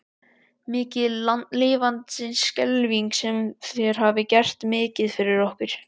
Mikið lifandis skelfing sem þér hafið gert mikið fyrir okkur.